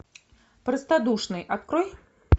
простодушный открой